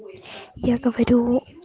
я говорю